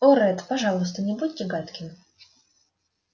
о ретт пожалуйста не будьте гадким